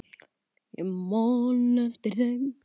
Já, ég man eftir þeim.